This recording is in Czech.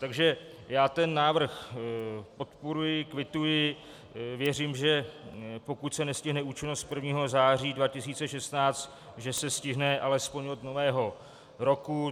Takže já ten návrh podporuji, kvituji, věřím, že pokud se nestihne účinnost 1. září 2016, že se stihne alespoň od Nového roku.